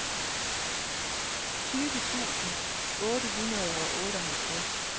tyve tusind otte hundrede og otteoghalvtreds